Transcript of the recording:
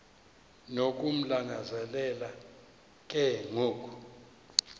nokumlangazelela ke ngoku